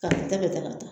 Ka ta ka taa ka taa